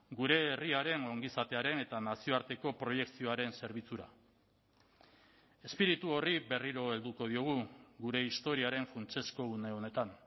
gure herriaren ongizatearen eta nazioarteko proiekzioaren zerbitzura espiritu horri berriro helduko diogu gure historiaren funtsezko une honetan